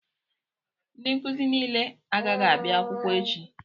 Ndị nkụzi nile agaghị abịa akwụkwọ echi